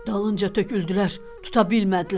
Dalınca töküldülər, tuta bilmədilər.